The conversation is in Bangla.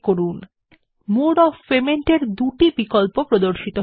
উভয় অপশন কে মোড অফ পেমেন্ট হিসেবে প্রদর্শন করা হয়